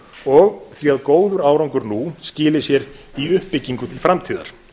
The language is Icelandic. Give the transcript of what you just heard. og því að góður árangur nú skili sér í uppbyggingu til framtíðar